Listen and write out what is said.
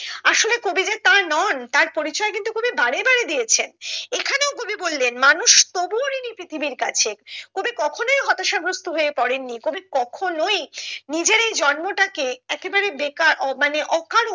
আসলে কবি যে তা নন তার পরিচয় কিন্তু কবি বারে বারে দিয়েছেন এখানেও কবি বললেন মানুষ তবুও ঋণী পৃথিবীর কাছে কবি কখনোই হতাশা গ্রস্ত হয়ে পড়েন নি কবি কখনোই নিজের এই জন্মটা কে একে বারে বেকার ও মানে অকারণ